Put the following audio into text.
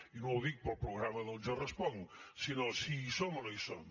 i no ho dic pel programa del jo responc sinó si hi som o no hi som